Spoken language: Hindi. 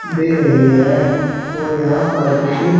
दे रही है और यहां पर कुछ --